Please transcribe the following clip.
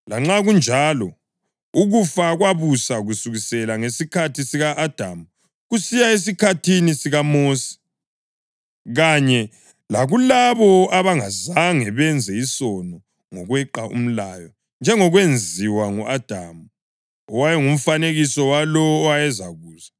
Lanxa kunjalo, ukufa kwabusa kusukela ngesikhathi sika-Adamu kusiya esikhathini sikaMosi, kanye lakulabo abangazange benze isono ngokweqa umlayo, njengokwenziwa ngu-Adamu, owayengumfanekiso walowo owayezakuza.